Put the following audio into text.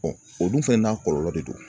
o dun fɛnɛ n'a kɔlɔlɔ de don